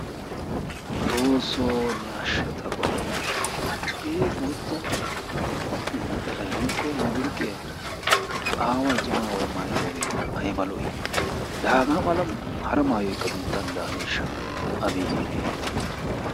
Xoosso! Ne ashsha ta Godawu hagee boottaa naxalay woykko mabaluqqiya aaway cima aaway maattidooge aybba lo"i. La haga mala hara maayoykka biittan daaneeshsha, abeeti!